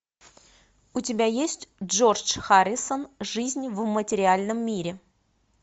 у тебя есть джордж харрисон жизнь в материальном мире